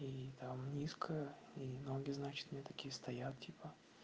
и там низко и ноги значит у меня такие стоят типа